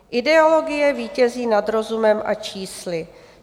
Ideologie vítězí nad rozumem a čísly.